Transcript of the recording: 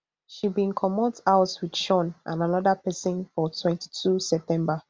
she bin comot house wit shaun and anoda pesin for twenty-two september